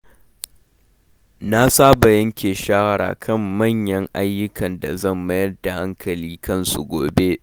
Na saba yanke shawara kan manyan ayyuka da zan mayar da hankali kansu gobe.